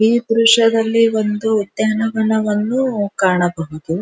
ಈ ದ್ರಶ್ಯದಲ್ಲಿ ಒಂದು ಉದ್ಯಾನವನವನ್ನು ಒಂದು ಕಾಣಬಹುದು.